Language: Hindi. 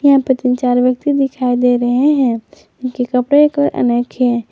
यहां पे तीन चार व्यक्ति दिखाई दे रहे हैं उनके कपड़े के अनेक है।